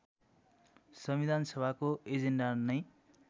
सविधानसभाको agenda नै